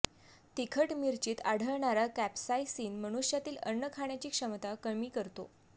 तिखट मिरचीत आढळणारा कॅपसाइसिन मनुष्यातील अन्न खाण्याची क्षमता कमी करतो